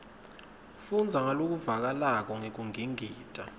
fundza ngalokuvakalako ngekungingita